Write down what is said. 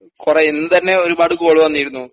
കൊറേ എന്തന്നെയാ ഒരുപാട് കോള് വന്നിരുന്നു.